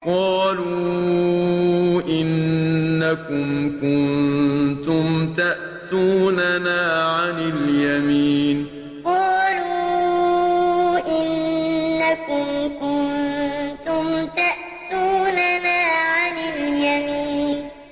قَالُوا إِنَّكُمْ كُنتُمْ تَأْتُونَنَا عَنِ الْيَمِينِ قَالُوا إِنَّكُمْ كُنتُمْ تَأْتُونَنَا عَنِ الْيَمِينِ